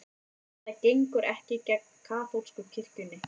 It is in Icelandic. Þetta gengur ekki gegn kaþólsku kirkjunni